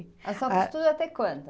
A senhora costura até quando?